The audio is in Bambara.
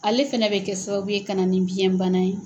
Ale fɛnɛ bɛ kɛ sababu ye ka na nin biɲɛ bana ye.